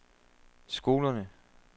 skolerne